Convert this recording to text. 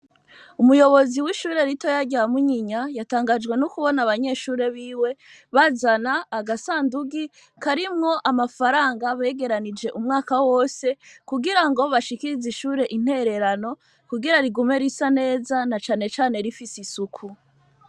Umuyobozi w'ishure ritoya rya munyinya yatangajwe n'ukubona abanyeshure biwe bazana agasandugi ko arimwo amafaranga begeranije umwaka wose kugira ngo bashikirize ishure intererano kugira rigume risa neza na canecane rifise isuku.